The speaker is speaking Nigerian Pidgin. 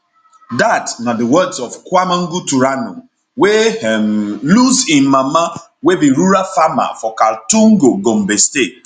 dat na di words of kwamangu turanu wey um lose im mama wey be rural farmer for kaltungo gombe state